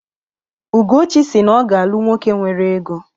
Ugochi si na ọ ga-alụ nwoke nwere ego.